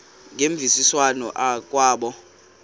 ngemvisiswano r kwabo